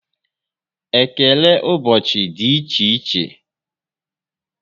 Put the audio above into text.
Ekele ụbọchị dị n'iche n'iche